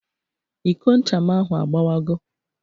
Iko ncha m ahụ agbawago